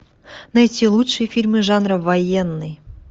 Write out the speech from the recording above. найти лучшие фильмы жанра военный